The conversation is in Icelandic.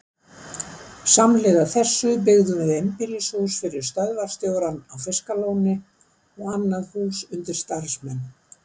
Samhliða þessu byggðum við einbýlishús fyrir stöðvarstjórann á Fiskalóni og annað hús undir starfsmenn.